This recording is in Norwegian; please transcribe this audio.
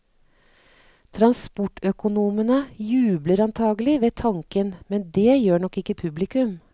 Transportøkonomene jubler antagelig ved tanken, men det gjør nok ikke publikum.